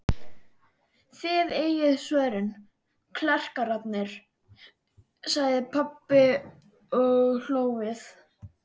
Þið eigið svörin, klerkarnir, sagði pabbi og hló við.